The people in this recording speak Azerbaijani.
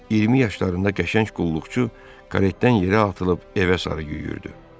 İyirmi yaşlarında qəşəng qulluqçu karetdən yerə atılıb evə sarı yüyürdü.